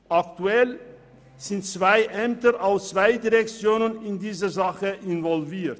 Aktuell sind zwei Ämter aus zwei Direktionen in diese Sache involviert.